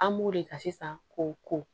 An b'o de ka sisan k'o ko